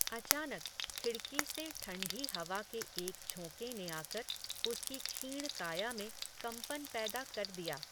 अचानक, खिड़की से ठण्ढी हवा के एक झोंके ने आकर, उसकी क्षीण काया में, कम्पन पैदा कर दिया